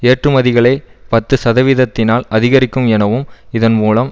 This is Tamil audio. ஏற்றுமதிகளை பத்து சதவீதத்தினால் அதிகரிக்கும் எனவும் இதன் மூலம்